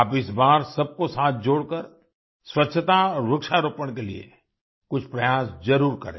आप इस बार सब को साथ जोड़ कर स्वच्छता और वृक्षारोपण के लिए कुछ प्रयास ज़रूर करें